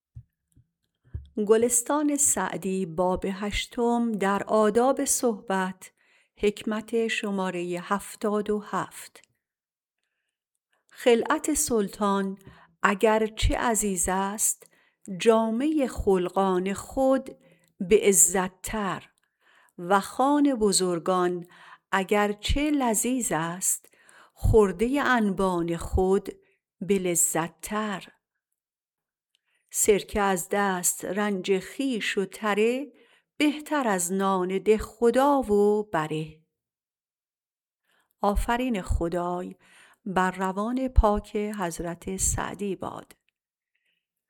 خلعت سلطان اگر چه عزیز است جامه خلقان خود به عزت تر و خوان بزرگان اگر چه لذیذ است خرده انبان خود به لذت تر سرکه از دسترنج خویش و تره بهتر از نان دهخدا و بره